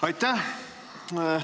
Aitäh!